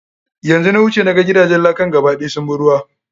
Yanzu na wuce, na ga ga ba ɗaya gidajen lakan sun bi ruwa.